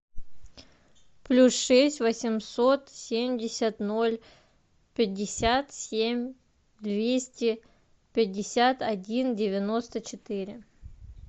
плюс шесть восемьсот семьдесят ноль пятьдесят семь двести пятьдесят один девяносто четыре